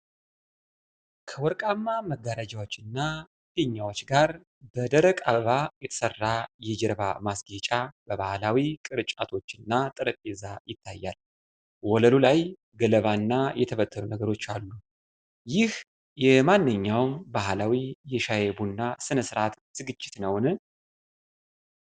ከወርቃማ መጋረጃዎችና ፊኛዎች ጋር በደረቅ አበባ የተሰራ የጀርባ ማስጌጫ፣ ባህላዊ ቅርጫቶችና ጠረጴዛ ይታያል። ወለሉ ላይ ገለባና የተበተኑ ነገሮች አሉ። ይህ የማንኛውም ባህላዊ የሻይ/ቡና ሥነ ሥርዓት ዝግጅት ነውን?